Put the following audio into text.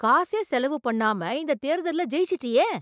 காசே செலவு பண்ணாம இந்த தேர்தல்ல ஜெயிச்சிட்டியே!